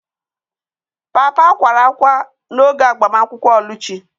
Papa kwara ákwá n'oge agbamakwụkwọ Oluchi.